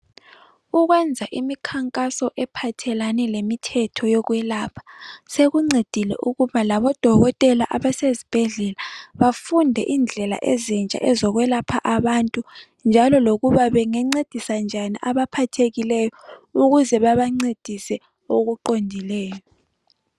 Ukwenza imikhankaso ephathelane lemithetho yokwelapha sekuncedile ukuba labodokotela abasezibhedlela bafunde indlela ezintsha ezokwelapha abantu njalo lokuba bengancedisa njani abaphathekileyo ukuze babancedise okuqondileyo